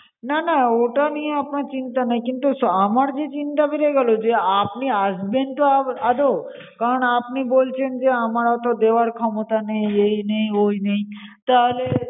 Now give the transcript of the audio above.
না না ওটা নিয়ে আপনার চিন্তা নেই। কিন্তু আমার যে চিন্তা বেড়ে গেলো যে আপনি আসবেন তো আ~ আদৌ? কারণ আপনি বলছেন যে আমার অত দেওয়ার ক্ষমতা নেই, এই নেই, ওই নেই, তাহলে